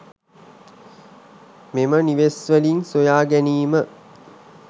මෙම නිවෙස්‌වලින් සොයාගැනීම